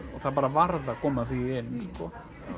það bara varð að koma því inn sko